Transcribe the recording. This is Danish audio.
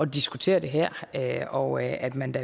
diskutere det her her og at at man da